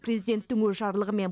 президенттің өз жарлығымен